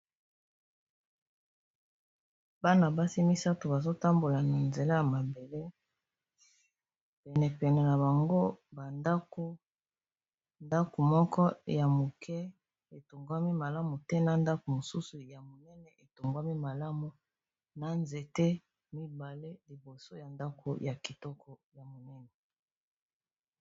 Bana basi misato bazotambola na nzela ya mabele pene pene na bango ba ndako ndako moko ya moke etongami malamu te na ndako mosusu ya monene etongami malamu na nzete mibale liboso ya ndako ya kitoko ya monene.